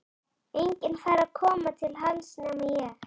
Enginn fær að koma inn til hans nema ég.